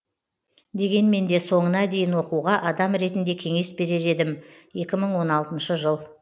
дегенмен де соңына дейін оқуға адам ретінде кеңес берер едім екі мың он алтыншы жыл